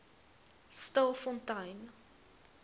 stilfontein